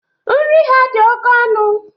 Nri ha dị oke ọnụ.